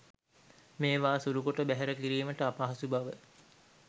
මේවා සුළුකොට බැහැර කිරීමට අපහසු බව